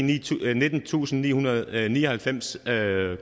nittentusinde og nihundrede og nioghalvfems kr